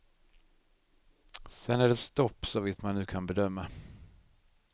Sen är det stopp, såvitt man nu kan bedöma.